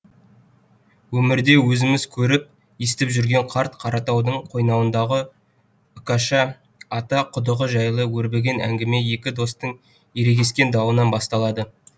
өмірде өзіміз көріп естіп жүрген қарт қаратаудың қойнауындағы үкаша ата құдығы жайлы өрбіген әңгіме екі достың ерегескен дауынан басталады